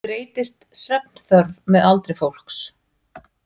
Breytist svefnþörf með aldri fólks?